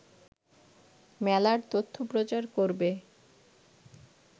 মেলার তথ্য প্রচার করবে